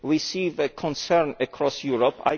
We see the concern across Europe.